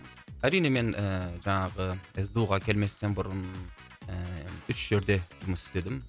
әрине мен ііі жаңағы сду ға келместен бұрын ііі үш жерде жұмыс істедім